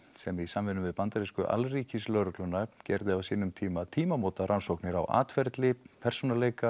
sem í samvinnu við bandarísku alríkislögregluna gerði á sínum tíma tímamóta rannsóknir á atferli persónuleika